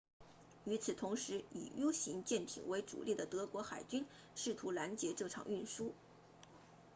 与此同时以 u 型潜艇为主力的德国海军试图拦截这场运输